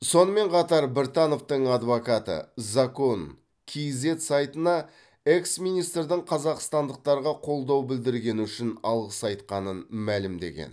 сонымен қатар біртановтың адвокаты закон кизед сайтына экс министрдің қазақстандықтарға қолдау білдіргені үшін алғыс айтқанын мәлімдеген